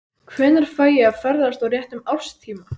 Hvenær fæ ég að ferðast á réttum árstíma?